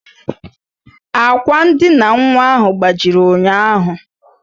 Àkwà ndina nwa ahụ gbajiri ụnyaahụ